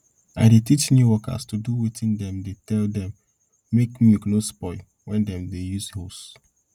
i dey teach new workers to do wetin dem dey tell dem make milk nor spoil when dem dey use hose